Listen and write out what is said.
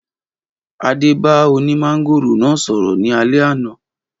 Adé bá oní mángòrò náà sọ̀rọ̀ ní alẹ́ àná.